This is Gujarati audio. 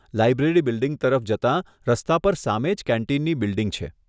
લાઈબ્રેરી બિલ્ડીંગ તરફ જતાં રસ્તા પર સામે જ કેન્ટીનની બિલ્ડીંગ છે.